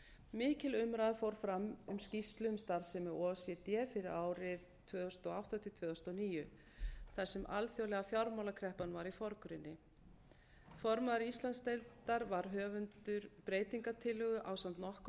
mikil umræða fór fram um skýrslu um starfsemi o e c d fyrir árið tvö þúsund og átta til tvö þúsund og níu þar sem alþjóðlega fjármálakreppan var í forgrunni formaður íslandsdeildar var höfundur breytingartillögu ásamt nokkrum